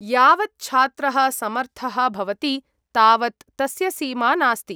यावत् छात्रः समर्थः भवति तावत् तस्य सीमा नास्ति।